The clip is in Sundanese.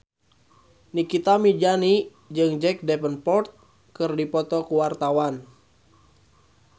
Nikita Mirzani jeung Jack Davenport keur dipoto ku wartawan